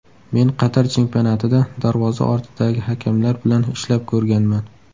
Men Qatar chempionatida darvoza ortidagi hakamlar bilan ishlab ko‘rganman.